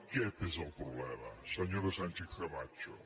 aquest és el problema senyora sánchez camacho